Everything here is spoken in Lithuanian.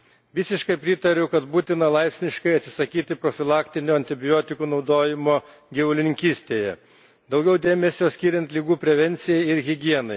Visiškai pritariu, kad būtina laipsniškai atsisakyti profilaktinio antibiotikų naudojimo gyvulininkystėje, daugiau dėmesio skiriant ligų prevencijai ir higienai.